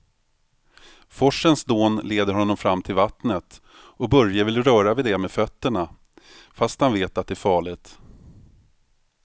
Forsens dån leder honom fram till vattnet och Börje vill röra vid det med fötterna, fast han vet att det är farligt.